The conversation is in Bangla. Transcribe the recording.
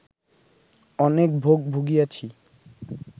অনেক ভোগ ভুগিয়াছি